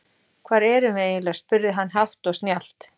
Hvar erum við eiginlega spurði hann hátt og snjallt.